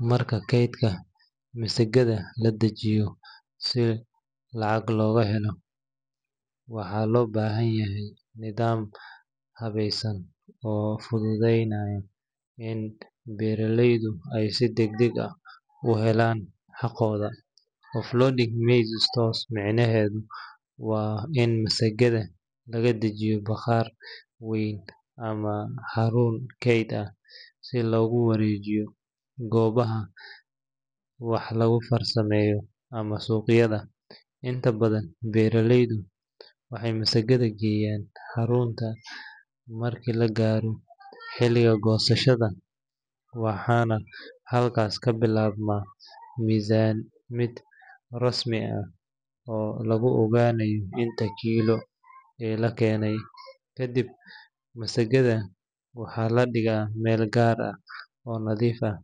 Marka keydka masagada la dejinayo si lacag loo helo, waxaa loo baahan yahay nidaam habaysan oo fududeynaya in beeraleydu ay si degdeg ah u helaan xaqooda. Offloading maize store micnaheedu waa in masagada laga dejiyo bakhaar weyn ama xarun keyd ah si loogu wareejiyo goobaha wax lagu farsameeyo ama suuqyada. Inta badan, beeraleydu waxay masagada geeyaan xarunta markii la gaaro xilliga goosashada, waxaana halkaas ka bilaabma miisaamid rasmi ah oo lagu ogaanayo inta kiilo ee la keenay. Ka dib, masagada waxaa la dhigaa meel gaar ah oo nadiif ah,